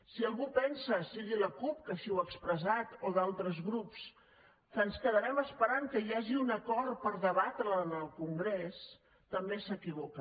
si algú pensa sigui la cup que així ho ha expressat o d’altres grups que ens quedarem esperant que hi hagi un acord per debatre la en el congrés també s’equivoca